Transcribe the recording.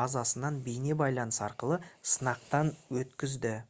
базасынан бейне байланыс арқылы сынақтан өткізді